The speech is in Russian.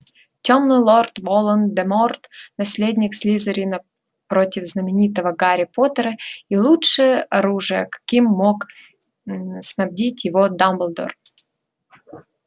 тёмный лорд волан-де-морт наследник слизерина против знаменитого гарри поттера и лучшее оружия каким мог снабдить его дамблдор